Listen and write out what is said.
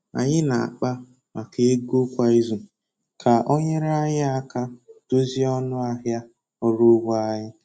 Anyị na akpa maka ego kwa izu ka o nyere anyị aka dozie ọnụ ahịa ọrụ ugbo anyi